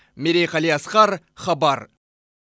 мерей қалиасқар хабар